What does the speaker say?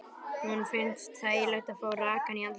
Honum finnst þægilegt að fá rakann í andlitið.